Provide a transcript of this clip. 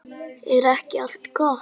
Er ekki allt gott?